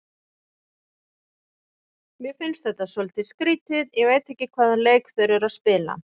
Mér finnst þetta svolítið skrýtið, ég veit ekki hvaða leik þeir eru að spila.